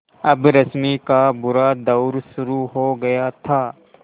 अब रश्मि का बुरा दौर शुरू हो गया था